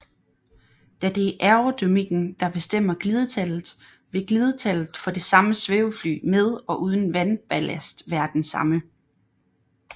Da det er aerodynamikken der bestemmer glidetallet vil glidetallet for det samme svævefly med og uden vandballast være det samme